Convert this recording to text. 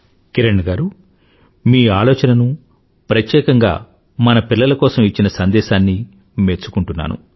కిరణ్ గారూ మీ ఆలోచనను ప్రత్యేకంగా మన పిల్లల కోసం ఇచ్చిన సందేశాన్ని మెచ్చుకుంటున్నాను